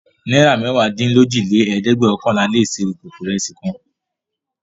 Náírà mẹ́wàádínlójìlélẹ́ẹ̀dẹ́gbẹ́ọ̀kànlà le se ìkókó ìrẹsì kan.